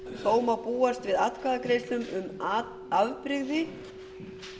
þó má búast við atkvæðagreiðslum um afbrigði